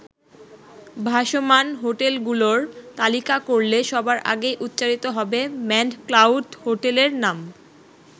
ভাসমান হোটেলগুলোর তালিকা করলে সবার আগেই উচ্চারিত হবে ম্যানড ক্লাউড হোটেলের নাম।